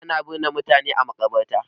Ana binne mutane a maƙabarta.